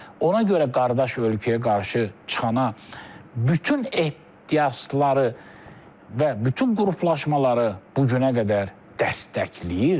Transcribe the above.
Ona görə qardaş ölkəyə qarşı çıxana bütün ehtirasları və bütün qruplaşmaları bu günə qədər dəstəkləyir.